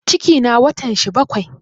Cikina watan shi bakai